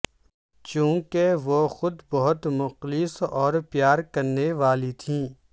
چونکہ وہ خود بہت مخلص اور پیار کرنے والی تھیں